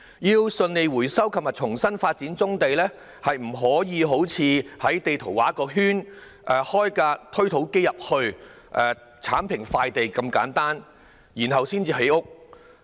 要順利回收及重新發展棕地，並非好像在地圖上劃一個圈，將推土機駛進地盤，剷平土地，然後便可以建屋這麼簡單。